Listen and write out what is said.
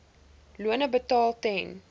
lone betaal ten